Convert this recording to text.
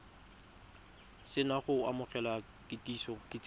se na go amogela kitsiso